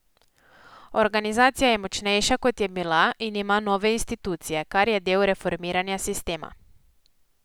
Organizacija je močnejša, kot je bila, in ima nove institucije, kar je del reformiranja sistema.